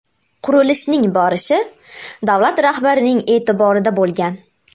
Qurilishning borishi davlat rahbarining e’tiborida bo‘lgan.